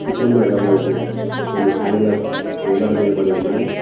చిత్రంలో ఎడమవైపు కొన్ని హ్యాంగ్లర్స్ వేలాడదేయబడి ఉన్నాయి.